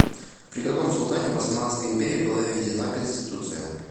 при каком султане в османской империи была введена конституция